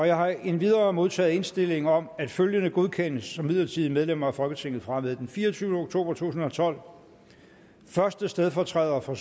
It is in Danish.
jeg har endvidere modtaget indstilling om at følgende godkendes som midlertidige medlemmer af folketinget fra og med den fireogtyvende oktober 2012 første stedfortræder for